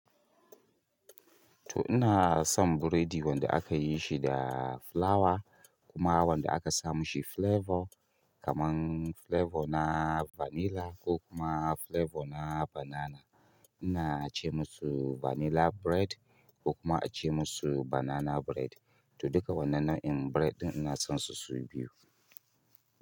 To ina son buredi wanda aka yi shi da fulawa kuma wanda aka sa ma shi flavour kamar flavour na vanilla ko kuma flavour na banana. Ina ce musu vanilla bread ko kuma a ce musu banana bread. To duka wannan nau'in bread ɗin ina son su su biyu.